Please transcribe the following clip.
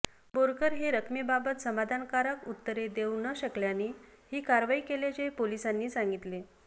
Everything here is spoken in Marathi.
बोरकर हे रकमेबाबत समाधानकारक उत्तरे देऊ न शकल्याने ही कारवाई केल्याचे पोलिसांनी सांगितले